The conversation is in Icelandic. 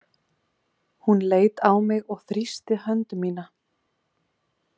Hún leit á mig og þrýsti hönd mína.